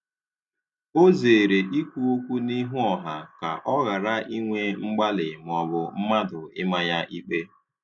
O zere ikwu okwu n'ihu ọha ka ọ ghara inwe mgbali maọbụ mmadụ ịma ya ikpe